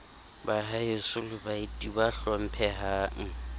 baheso le baeti ba hlomphehang